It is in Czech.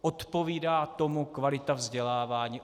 Odpovídá tomu kvalita vzdělávání?